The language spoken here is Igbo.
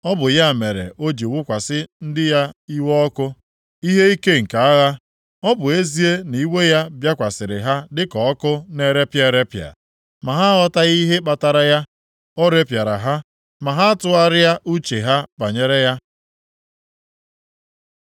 Ọ bụ ya mere o ji wụkwasị ndị ya iwe ọkụ ya, ihe ike nke agha. Ọ bụ ezie na iwe ya bịakwasịrị ha dịka ọkụ na-erepịa erepịa, ma ha aghọtaghị ihe kpatara ya; o repịara ha, ma ha atụgharịa uche ha banyere ya.